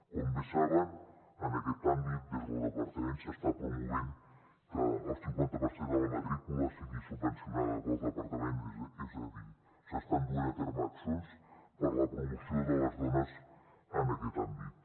com bé saben en aquest àmbit des del departament s’està promovent que el cinquanta per cent de la matrícula sigui subvencionada pel departament és a dir s’estan duent a terme accions per a la promoció de les dones en aquest àmbit